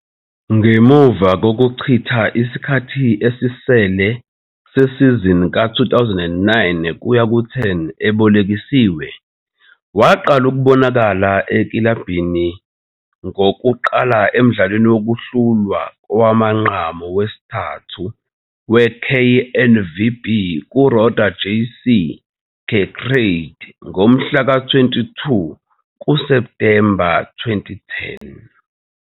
Ngemuva kokuchitha isikhathi esisele sesizini ka -2009 kuya ku-10 ebolekisiwe, waqala ukubonakala ekilabhini ngokuqala emdlalweni wokuhlulwa kowamanqamu wesithathu weKNVB kuRoda JC Kerkrade ngomhla ka-22 Septhemba 2010.